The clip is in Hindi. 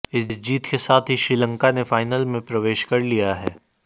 इस जीत के साथ ही श्रीलंका ने फाइनल में प्रवेश कर लिया है